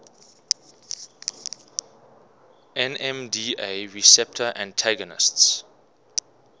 nmda receptor antagonists